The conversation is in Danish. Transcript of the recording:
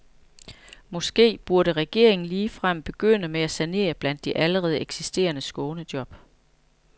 Måske burde regeringen ligefrem begynde med at sanere blandt de allerede eksisterende skånejob.